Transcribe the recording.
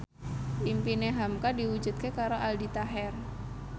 impine hamka diwujudke karo Aldi Taher